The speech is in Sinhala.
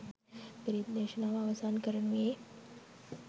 පිරිත් දේශනාව අවසන් කරනුයේ